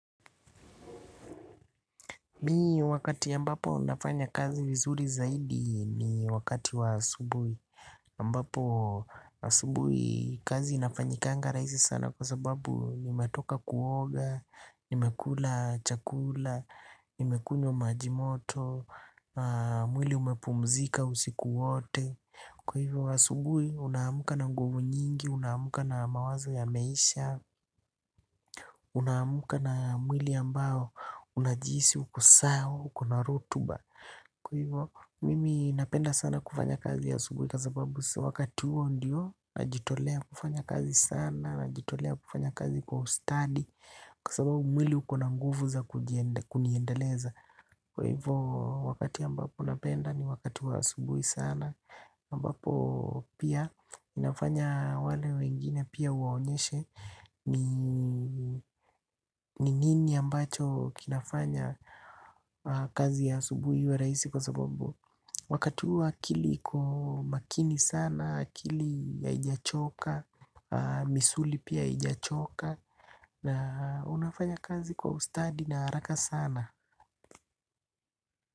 Mi wakati ambapo nafanya kazi vizuri zaidi ni wakati wa subuhi aMbapo asubuhi kazi inafanyikanga rahisi sana kwa sababu nimetoka kuoga, nimekula chakula, nimekunywa majimoto, mwili umepumzika usiku wote. Kwa hivyo asubuhi unaamka na nguvu nyingi, unaamka na mawazo ya meisha, unaamka na mwili ambao unajihisi uko sawa ukona rotuba. Kwa hivyo mimi napenda sana kufanya kazi asubuhi kwa sababu wakati huo ndio najitolea kufanya kazi sana najitolea kufanya kazi kwa ustadi kwa sababu mwili ukona nguvu za kuniendeleza kwa hivyo wakati ambapo napenda ni wakati wa asubuhi sana ampapo pia inafanya wale wengine pia uwaonyeshe ni ni nini ambacho kinafanya kazi ya asubuhi iwe rahisi kwa sababu wakati huo akili iko makini sana, akili haijachoka, misuli pia haijachoka. Na unafanya kazi kwa ustadi na haraka sana.